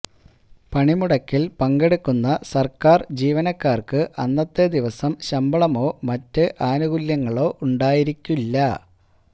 പണിമുടക്കില് പങ്കെടുക്കുന്ന സര്ക്കാര് ജീവനക്കാര്ക്ക് അന്നത്തെ ദിവസം ശമ്പളമോ മറ്റ് ആനുകൂല്യങ്ങളോ ഉണ്ടായിരിക്കില്ല